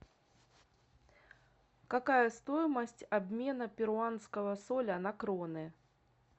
какая стоимость обмена перуанского соля на кроны